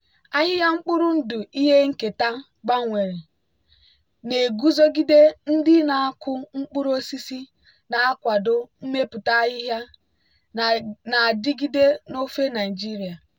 ahịhịa mkpụrụ ndụ ihe nketa gbanwere na-eguzogide ndị na-akụ mkpụrụ osisi na-akwado mmepụta ahịhịa na-adigide n'ofe naijiria.